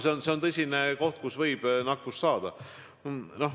See on tõesti koht, kus võib nakkuse saada.